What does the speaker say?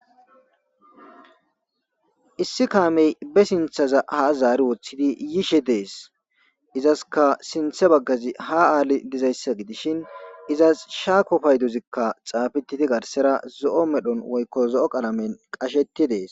issi kaamey be sinthaza ha zaari woththidi yiishe dees izaska sinthe baggazi ha aali dizayssa gidishin izas shaako pay duzikka xaafititi garsera zo7o medhon woykko zo7o qalamen qashetti dees